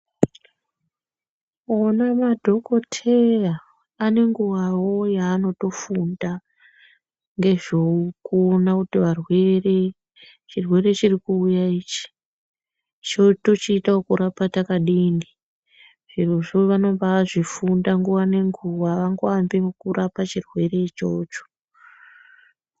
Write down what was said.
Ona madhokoteya anenguwawo yavanotofunda ngezvekuona ngezvevarwere chirwere chiri kuuya ichi tochiita okurapa takadini zvirozvo vanombazvifunda nguwa nenguwa avangoambi ngekuapa chirwere ichocho.